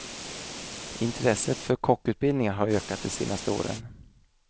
Intresset för kockutbildningar har ökat de senaste åren.